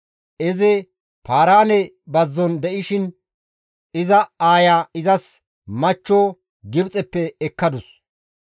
Izi Paaraane bazzon de7ishin iza aaya izas machcho Gibxeppe ekkadus.